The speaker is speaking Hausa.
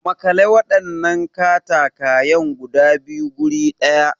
Makale wadannan katakwayen guda biyu guri daya.